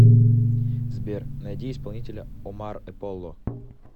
сбер найди исполнителя омар эполло